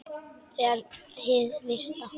Þegar hið virta